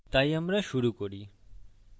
তাই আমরা শুরু করি